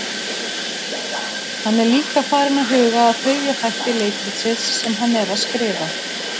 Hann er líka farinn að huga að þriðja þætti leikritsins sem hann er að skrifa.